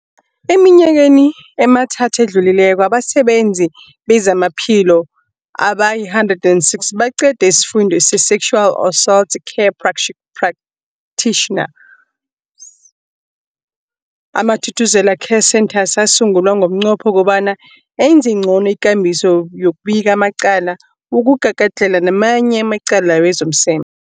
Eminyakeni emithathu edluleko, abasebenzi bezamaphilo abali-106 baqede isiFundo se-Sexual Assault Care Practitioners. AmaThuthuzela Care Centres asungulwa ngomnqopho wokobana enze ngcono ikambiso yokubika amacala wokugagadlhela namanye amacala wezomseme.